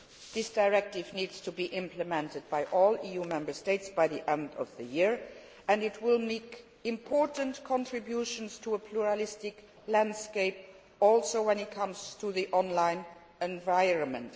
This directive needs to be implemented by all EU Member States by the end of the year and will make important contributions to a pluralistic landscape when it also comes to the online environment.